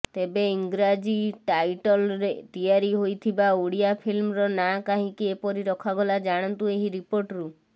ତେବେ ଇଂରାଜୀ ଟାଇଟଲ୍ରେ ତିଆରି ହୋଇଥିବା ଓଡ଼ିଆ ଫିଲ୍ମର ନାଁ କାହିଁକି ଏପରି ରଖାଗଲା ଜାଣନ୍ତୁ ଏହି ରିପୋର୍ଟରୁ